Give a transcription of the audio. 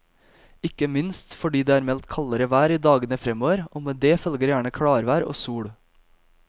Ikke minst fordi det er meldt kaldere vær i dagene fremover, og med det følger gjerne klarvær og sol.